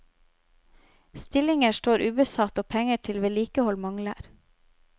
Stillinger står ubesatt og penger til vedlikehold mangler.